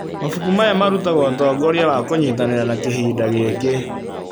Mabuku maya marutaga ũtongoria wa kũnyitanĩra na kĩhinda gĩkĩ